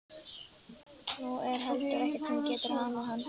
Nú er heldur ekkert sem getur hamið hann.